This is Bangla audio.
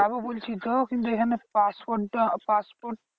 যাবো বলছি তো কিন্তু এখানে passport টা passport